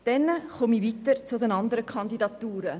Ich komme des Weiteren zu den anderen Kandidaturen.